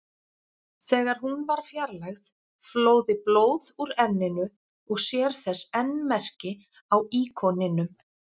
Þegar hún var fjarlægð flóði blóð úr enninu og sér þess enn merki á íkoninum.